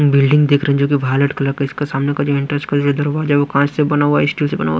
Building देख रहे हैं जो कि वायलेट कलर का इसका सामने का जो इंटर्स का जो दरवाजा है वो कांच से बना हुआ है स्टील से बना हुआ है।